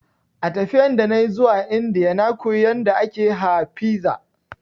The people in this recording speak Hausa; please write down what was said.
A tafiyan da nayi zuwa Indiya na koyi yanda ake ha fiza